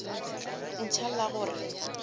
a ntšha la go re